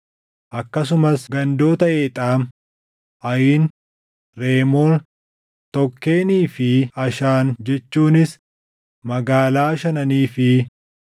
Akkasumas gandoota Eexaam, Ayin, Reemoon, Tookkenii fi Ashaan jechuunis magaalaa shananii fi